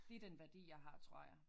Det den værdi jeg har tror jeg